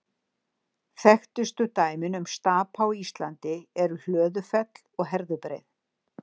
Þekktustu dæmin um stapa á Íslandi eru Hlöðufell og Herðubreið.